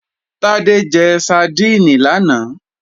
Tádé jẹ sadíìnì lánàá